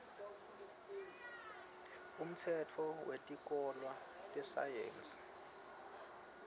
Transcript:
umtsetfo wetikolwa tesayensi